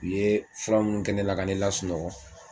U ye fura minnu kɛ ne la ka ne la sunɔgɔ